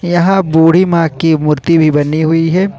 यहां बूढी मां की मूर्ति भी बनी हुई है।